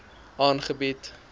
aangebied